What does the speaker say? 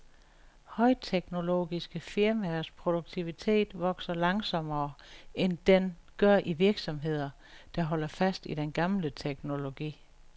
Højteknologiske firmaers produktivitet vokser langsommere, end den gør i virksomheder, der holder fast i den gamle teknologi.